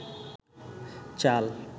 চাল